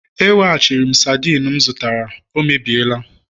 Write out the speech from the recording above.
E weghachiri ya sardine m zụtara, ọ emebiela